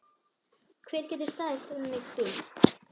Hver getur staðist þannig bíl?